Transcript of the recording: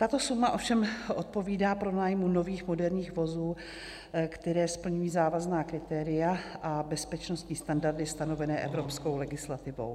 Tato suma ovšem odpovídá pronájmu nových moderních vozů, které splňují závazná kritéria a bezpečnostní standardy stanovené evropskou legislativou.